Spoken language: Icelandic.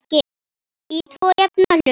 Í tvo jafna hluta.